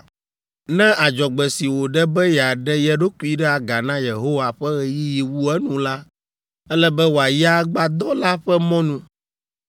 “ ‘Ne adzɔgbe si wòɖe be yeaɖe ye ɖokui ɖe aga na Yehowa ƒe ɣeyiɣi wu enu la, ele be wòayi agbadɔ la ƒe mɔnu,